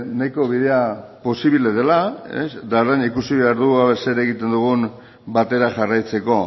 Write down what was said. nahiko bide posiblea dela eta orain ikusi behar dugu ea zer egiten dugun batera jarraitzeko